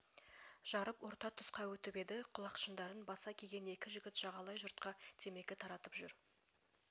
жарып орта тұсқа өтіп еді құлақшындарын баса киген екі жігіт жағалай жұртқа темекә таратып жүр